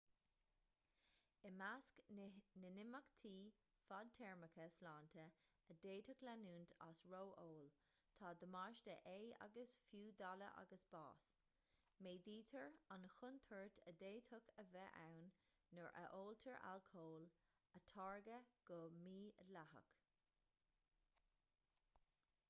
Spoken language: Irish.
i measc na n-imeachtaí fadtéarmacha sláinte a d'fhéadfadh leanúint as ró-ól tá damáiste ae agus fiú daille agus bás méadaítear an chontúirt a d'fhéadfadh a bheith ann nuair a óltar alcól a táirgeadh go mídhleathach